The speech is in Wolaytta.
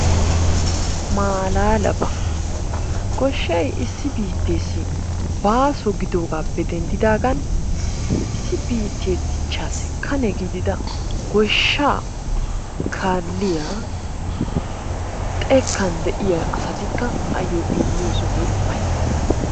Maalaalaba! Goshshay issi biitteessi baaso gidoogaappe denddidaagan issi biittee dichchaassi Kane gidida goshshaa kaalliya xekkan de'iya asatikka ayyo immiyo sohoy ufayissees.